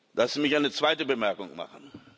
Lassen Sie mich eine zweite Bemerkung machen.